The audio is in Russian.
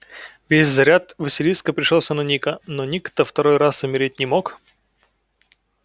весь заряд василиска пришёлся на ника но ник-то второй раз умереть не мог